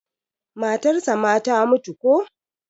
matarsa ma ta mutu ko?